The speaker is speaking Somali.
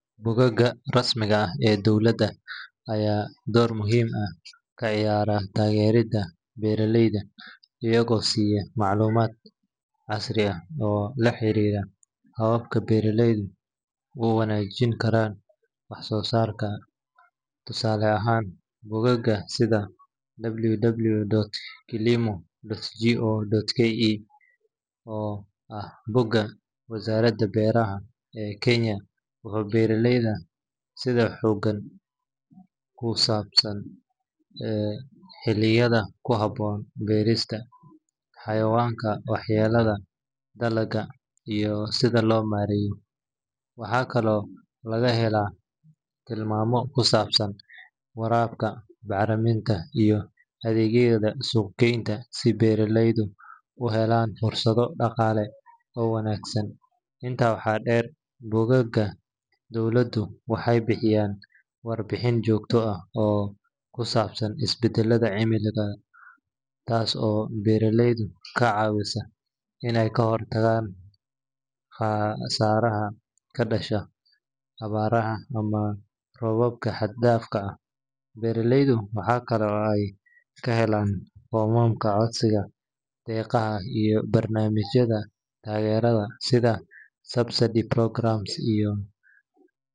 Bogagga rasmiga ah ee dowladda ayaa door muhiim ah ka ciyaara taageeridda beeraleyda iyagoo siiya macluumaad casri ah oo la xiriira hababka beeraleyda u wanaajin karaan wax soo saarkooda. Tusaale ahaan, bogagga sida www.kilimo.go.ke oo ah bogga wasaaradda beeraha ee Kenya, wuxuu beeraleyda siyaa xog ku saabsan xilliyada ku habboon beerista, cayayaanka waxyeeleeya dalagyada, iyo sida loo maareeyo. Waxaa kaloo laga helaa tilmaamo ku saabsan waraabka, bacriminta, iyo adeegyada suuq-geynta si beeraleydu u helaan fursado dhaqaale oo wanaagsan. Intaa waxaa dheer, bogagga dowladdu waxay bixiyaan warbixino joogto ah oo kusaabsan isbedelka cimilada, taas oo beeraleyda ka caawisa inay ka hortagaan khasaaraha ka dhasha abaaraha ama roobabka xad-dhaafka ah. Beeraleyda waxa kale oo ay ka helaan foomamka codsiga deeqaha iyo barnaamijyada taageerada sida subsidy programs iyo.